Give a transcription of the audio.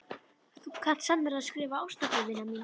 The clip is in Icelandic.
Þú kant sannarlega að skrifa ástarbréf, vina mín.